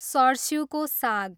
सर्स्युको साग